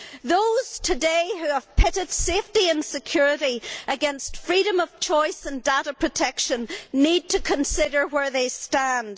Those today who have pitted safety and security against freedom of choice and data protection need to consider where they stand.